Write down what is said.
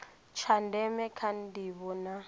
tsha ndeme kha ndivho na